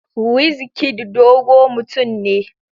Wizkid dogo mutum ne.